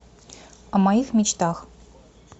о моих мечтах